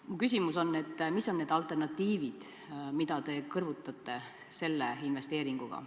Mu küsimus on: mis on need alternatiivid, mida te kõrvutate selle investeeringuga?